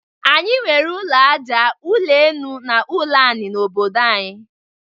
Anyị nwere ụlọ aja, ụlọ enu na ụlọ anị n'obodo anyị.